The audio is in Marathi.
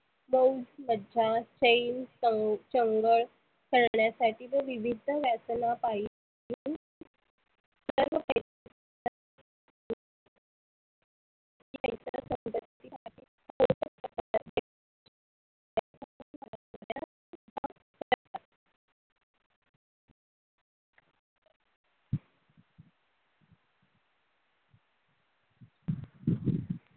शौक, मज्जा, चैन, च चंगळ करण्यासाठी विवीध्द वेसना पाई